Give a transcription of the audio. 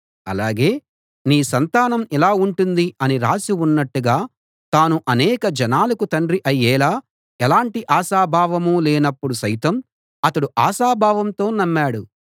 అలాగే నీ సంతానం ఇలా ఉంటుంది అని రాసి ఉన్నట్టుగా తాను అనేక జనాలకు తండ్రి అయ్యేలా ఎలాటి ఆశాభావం లేనప్పడు సైతం అతడు ఆశాభావంతో నమ్మాడు